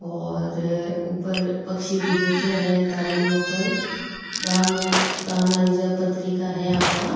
और ऊपर पक्षी भी बैठा है तारा के ऊपर दान दान आरी पत्रिका जो है आपा --